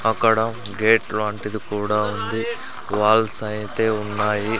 అక్కడ గేట్ లాంటిది కూడా ఉంది వాల్స్ అయితే ఉన్నాయి.